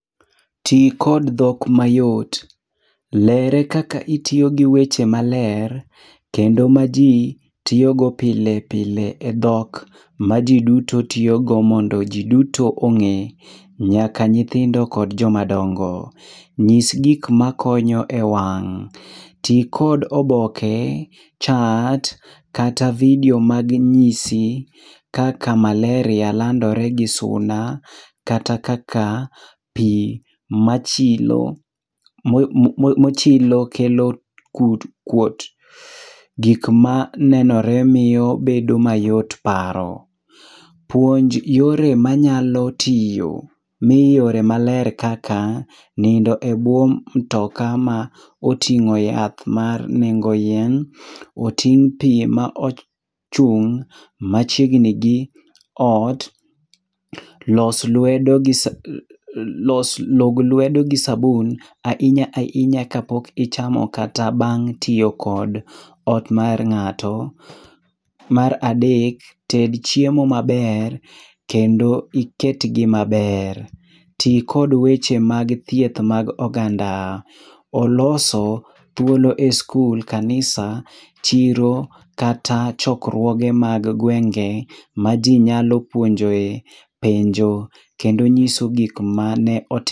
Ti kod dhok mayot. Lere kaka itiyo gi weche maler, kendo maji tiyogo pile pile edhok, maji duto tiyogo mondo ji duto ong'e, nyaka nyithindo kod joma dongo. Nyis gik makonyo ewang'. Ti kod oboke, chart kata video mag nyisi kaka Malaria landore gi suna, kata kaka pi machilo mochilo kelo kut kuot, gik manenore miyo bedo mayot paro. Puonj yore manyalo tiyo, miyo yore maler kaka nindo ebwo mutoka ma oting'o yath mar nengo yien, oting' pi ma ochung' machiegni gi ot, los lwedo los lwedo log lwedo gi sabun ahinya ahinya kapok ichamo kata bang' tiyo kod ot mar ng'ato. Mar adek, ted chiemo maber kendo iketgi maber. Ti kod weche mag thieth mag oganda. Oloso thuolo e skul, kanisa, chiro kata chokruoge mag gwenge maji nyalo puonjoe penjo kendo nyiso gik mane oti...